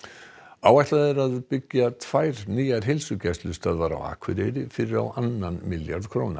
áætlað er að byggja tvær nýjar heilsugæslustöðvar á Akureyri fyrir á annan milljarð króna